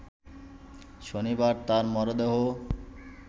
শনিবার তাঁর মরদেহ